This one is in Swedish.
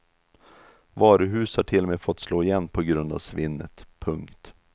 Varuhus har till och med fått slå igen på grund av svinnet. punkt